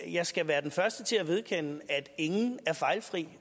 jeg skal være den første til at vedkende mig at ingen er fejlfri